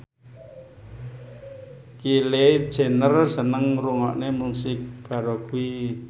Kylie Jenner seneng ngrungokne musik baroque